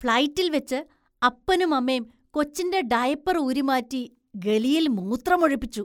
ഫ്ലൈറ്റില്‍ വെച്ച് അപ്പനുമമ്മേം കൊച്ചിന്‍റെ ഡയപ്പർ ഊരിമാറ്റി ഗലിയിൽ മൂത്രമൊഴിപ്പിച്ചു.